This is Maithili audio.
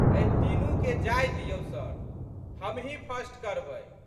एहि तीनूके जाय दिऔ सर, हमहीं फर्स्ट करबै।